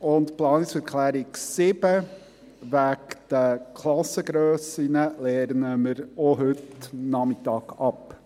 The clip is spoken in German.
Die Planungserklärung 7 zu den Klassengrössen lehnen wir auch heute Nachmittag ab.